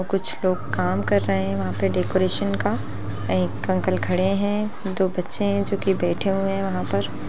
कुछ लोग काम कर रहे है वहां पर डेकोरेशन का एक अंकल खड़े है दो बच्चे है जो की बैठे हुए है वहां पर।